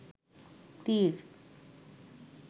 তীর